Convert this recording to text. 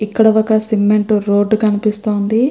ఇక్కడ ఒక cement road కనిపిస్తుంది.